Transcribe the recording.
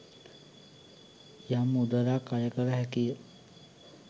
යම් මුදලක් අය කළ හැකිය.